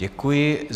Děkuji.